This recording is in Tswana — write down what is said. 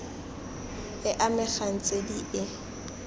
e amegang tse di e